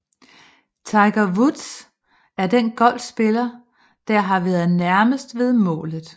Tiger Woods er den golfspiller der har været nærmest ved målet